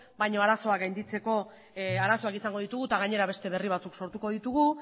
baina arazoa gainditzeko arazoak izango ditugu eta gainera beste berri batzuk sortuko ditugu